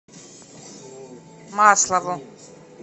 маслову